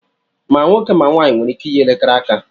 Ma nwoke ma nwanyị nwere ike iyi elekere aka